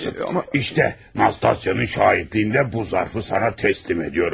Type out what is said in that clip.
Amma bax Nastasyanın şahidliyi ilə bu zərfi sənə təhvil verirəm.